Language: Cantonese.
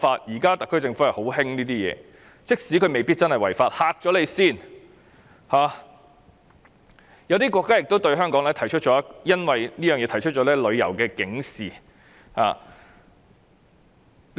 現在特區政府很喜歡這樣做，即使未必違法，也希望有一個阻嚇作用，有些國家因而對香港發出旅遊警示。